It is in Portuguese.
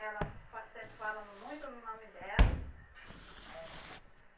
Ela fa sempre fala muito no nome dela eh